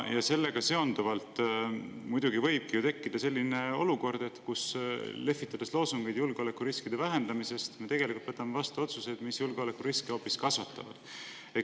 Ja sellega seonduvalt muidugi võibki tekkida selline olukord, kus me lehvitades loosungeid julgeolekuriskide vähendamisest tegelikult võtame vastu otsuseid, mis julgeolekuriske hoopis kasvatavad.